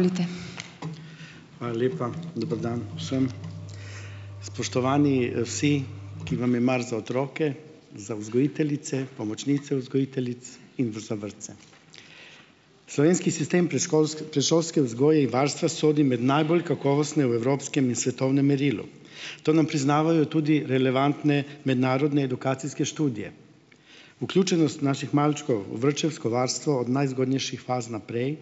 Hvala lepa. Dober dan vsem. Spoštovani, vsi, ki vam je mar za otroke, za vzgojiteljice, pomočnice vzgojiteljic in v za vrtce. Slovenski sistem predšolske, predšolske vzgoje in varstva sodi med najbolj kakovostne v evropskem in svetovnem merilu. To nam priznavajo tudi relevantne mednarodne edukacijske študije. Vključenost naših malčkov v vrtčevsko varstvo od najzgodnejših faz naprej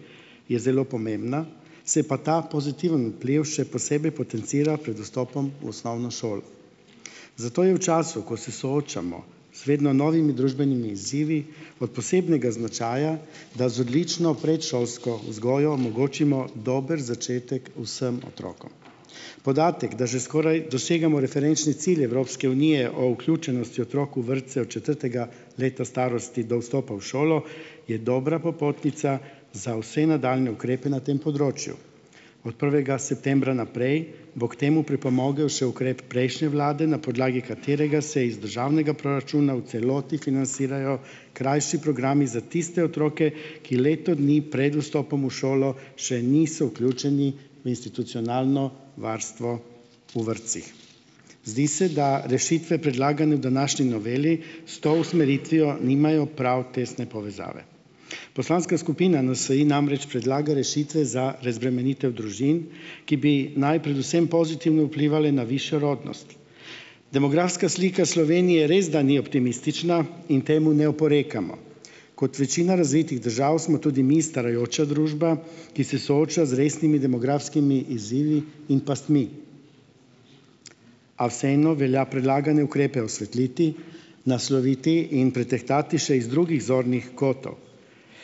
je zelo pomembna, se pa ta pozitiven vpliv še posebej potencira pred vstopom v osnovno šolo. Zato je v času, ko se soočamo z vedno novimi družbenimi izzivi, od posebnega značaja, da z odlično predšolsko vzgojo omogočimo dober začetek vsem otrokom. Podatek, da že skoraj dosegamo referenčne cilje Evropske unije o vključenosti otrok v vrtce od četrtega leta starosti do vstopa v šolo, je dobra popotnica za vse nadaljnje ukrepe na tem področju. Od prvega septembra naprej bo k temu pripomogel še ukrep prejšnje vlade, na podlagi katerega se iz državnega proračuna v celoti financirajo krajši programi za tiste otroke, ki leto dni pred vstopom v šolo še niso vključeni v institucionalno varstvo v vrtcih. Zdi se, da rešitve, predlagane v današnji noveli, s to usmeritvijo nimajo prav tesne povezave. Poslanska skupina NSi namreč predlaga rešitve za razbremenitev družin, ki bi naj predvsem pozitivno vplivale na višjo rodnost. Demografska slika Slovenije resda ni optimistična in temu ne oporekamo. Kot večina razvitih držav smo tudi mi starajoča družba, ki se sooča z resnimi demografskimi izzivi in pastmi. A vseeno velja predlagane ukrepe osvetliti, nasloviti in pretehtati še iz drugih zornih kotov.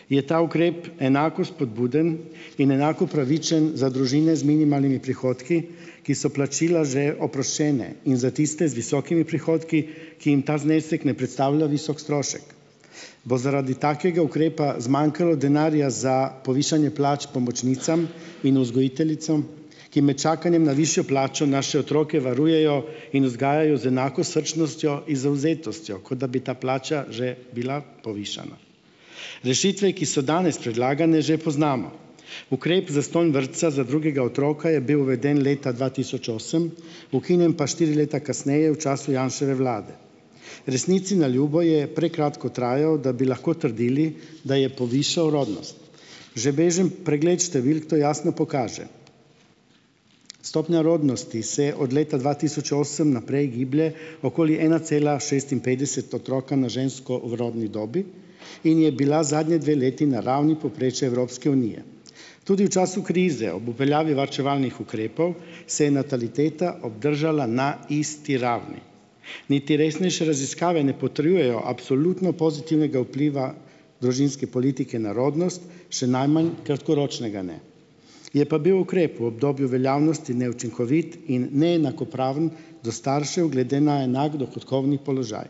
Je ta ukrep enako spodbuden in enako pravičen za družine z minimalnimi prihodki, ki so plačila že oproščene? In za tiste z visokimi prihodki, ki jim ta znesek ne predstavlja visok strošek. Bo zaradi takega ukrepa zmanjkalo denarja za povišanje plač pomočnicam in vzgojiteljicam? Ki med čakanjem na višjo plačo naše otroke varujejo in vzgajajo z enako srčnostjo in zavzetostjo, kot da bi ta plača že bila povišana. Rešitve, ki so danes predlagane, že poznamo. Ukrep zastonj vrtca za drugega otroka je bil uveden leta dva tisoč osem, ukinjen pa štiri leta kasneje v času Janševe vlade. Resnici na ljubo je prekratko trajal, da bi lahko trdili, da je povišal rodnost. Že bežen pregled številk to jasno pokaže, stopnja rodnosti se je od leta dva tisoč osem naprej giblje okoli ena cela šestinpetdeset otroka na žensko v rodni dobi in je bila zadnje dve leti na ravni povprečja Evropske unije. Tudi v času krize ob uveljavi varčevalnih ukrepov se je nataliteta obdržala na isti ravni. Niti resnejše raziskave ne potrjujejo absolutno pozitivnega vpliva družinske politike na rodnost, še najmanj kratkoročnega ne. Je pa bil ukrep v obdobju veljavnosti neučinkovit in neenakopraven do staršev glede na enak dohodkovni položaj.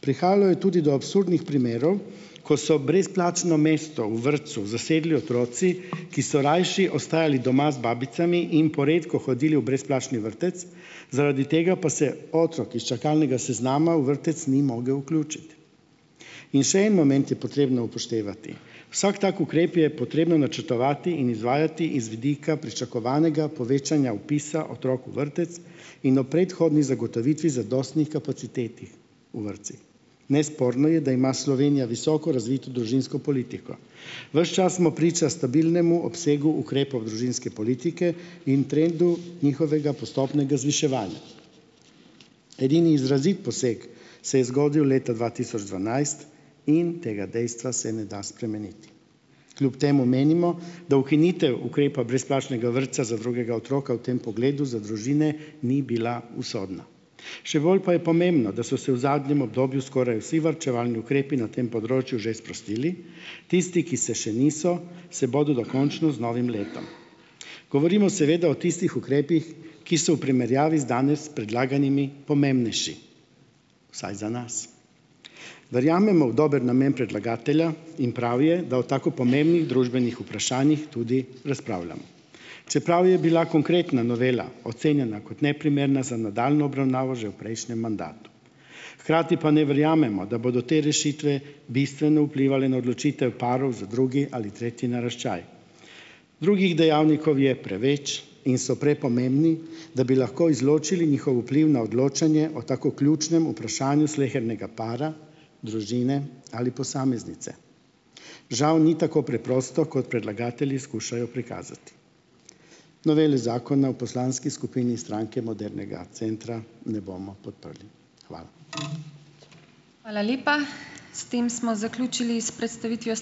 Prihajalo je tudi do absurdnih primerov, ko so brezplačno mesto v vrtcu zasedli otroci, ki so rajši ostajali doma z babicami in poredko hodili v brezplačni vrtec, zaradi tega pa se otrok iz čakalnega seznama v vrtec ni mogel vključiti. In še en moment je potrebno upoštevati. Vsak tak ukrep je potrebno načrtovati in izvajati iz vidika pričakovanega povečanja vpisa otrok v vrtec in ob predhodni zagotovitvi zadostnih kapacitet v vrtcih. Nesporno je, da ima Slovenija visoko razvito družinsko politiko. Ves čas smo priča stabilnemu obsegu ukrepov družinske politike in trendu njihovega postopnega zviševanja. Edini izraziti poseg se je zgodil leta dva tisoč dvanajst in tega dejstva se ne da spremeniti. Kljub temu menimo, da ukinitev ukrepa brezplačnega vrtca za drugega otroka v tem pogledu za družine ni bila usodna. Še bolj pa je pomembno, da so se v zadnjem obdobju skoraj vsi varčevalni ukrepi na tem področju že sprostili, tisti, ki se še niso, se bodo dokončno z novim letom. Govorimo seveda o tistih ukrepih, ki so v primerjavi z danes predlaganimi pomembnejši, vsaj za nas. Verjamemo v dober namen predlagatelja in prav je, da o tako pomembnih družbenih vprašanjih tudi razpravljamo. Čeprav je bila konkretna novela ocenjena kot neprimerna za nadaljnjo obravnavo že v prejšnjem mandatu. Hkrati pa ne verjamemo, da bodo te rešitve bistveno vplivale na odločitev parov za drugi ali tretji naraščaj. Drugih dejavnikov je preveč in so prepomembni, da bi lahko izločili njihov vpliv na odločanje o tako ključnem vprašanju slehernega para, družine ali posameznice. Žal ni tako preprosto, kot predlagatelji skušajo prikazati. Noveli zakona v poslanski skupini Stranke modernega centra ne bomo podprli. Hvala.